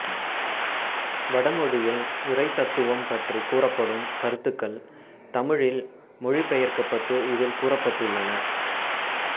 வடமொழியில் இறைத் தத்துவம் பற்றிக் கூறப்படும் கருத்துக்கள் தமிழில் மொழிபெயர்க்கப்பட்டு இதில் கூறப்பட்டுள்ளன